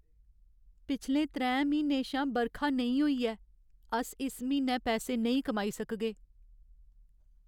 पिछले त्रैं म्हीनें शा बरखा नेईं होई ऐ। अस इस म्हीनै पैसे नेईं कमाई सकगे।